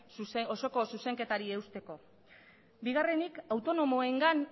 osoko zuzenketari eusteko bigarrenik autonomoengan